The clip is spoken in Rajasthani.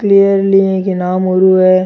क्लियर ली नाम ओरु है।